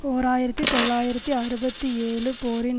ஓர் ஆயிரத்தி தொள்ளாயிரத்து அறுபத்தி ஏழு போரின்